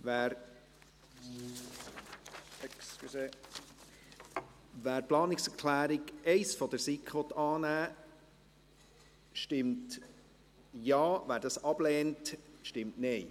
Wer die Planungserklärung 1 der SiK annehmen will, stimmt Ja, wer diese ablehnt, stimmt Nein.